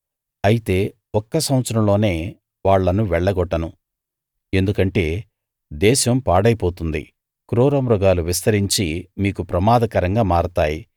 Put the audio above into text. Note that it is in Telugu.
అయితే ఒక్క సంవత్సరంలోనే వాళ్ళను వెళ్లగొట్టను ఎందుకంటే దేశం పాడైపోతుంది క్రూరమృగాలు విస్తరించి మీకు ప్రమాదకరంగా మారతాయి